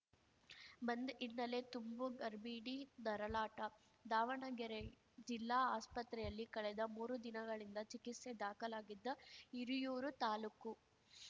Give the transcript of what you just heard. ಬಂದ್‌ ಹಿನ್ನೆಲೆ ತುಂಬು ಗರ್ಭಿಣಿ ನರಳಾಟ ದಾವಣಗೆರೆ ಜಿಲ್ಲಾ ಆಸ್ಪತ್ರೆಯಲ್ಲಿ ಕಳೆದ ಮೂರು ದಿನಗಳಿಂದ ಚಿಕಿತ್ಸೆ ದಾಖಲಾಗಿದ್ದ ಹಿರಿಯೂರು ತಾಲೂಕು